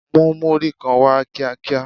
Mú múrí kan wá kíá kíá!